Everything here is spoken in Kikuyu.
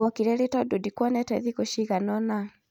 wokire rĩ tondũ ndikuonete thikũ ciagana ona?